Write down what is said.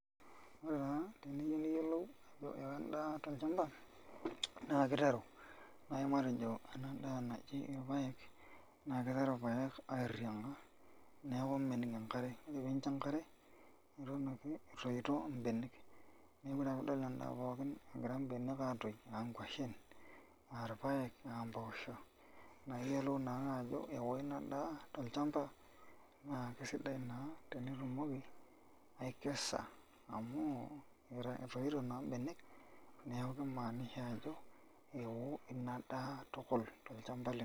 Ore taa teniyieu niyiolou ajo ewo endaa tol'chamba naakiteru, nai matejo ena daa naji ilpayek naa kiteru ilpayek airrimaa neeku mening enkare, neeku teninjo enkare ninepu ake etoyito imbenek. Neeku ore ake piinepu endaa pookin egira imbenek aatoyu aa nkuashen, aa payek, aamboosho naa iyielou naake ajo ewo ina tol'chamba naa kesidai naa tenitumoki, aikesa amu etoyito naa imbenek, neeku kimaanisha ajo ewo ina daa tukul tol'chamba lino.